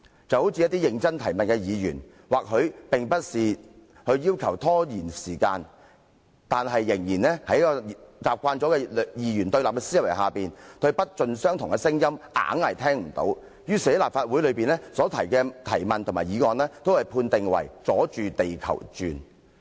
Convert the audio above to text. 一些認真提問的議員，或許並不是尋求拖延時間，但習慣了二元對立思維的人，對不盡相同的聲音總是裝作聽不懂，於是將這些議員在立法會內提出的質詢和議案一律判定為"阻住地球轉"。